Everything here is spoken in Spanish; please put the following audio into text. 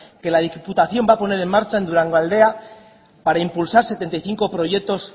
que la diputación va a poner en marcha en durangaldea para impulsar setenta y cinco proyectos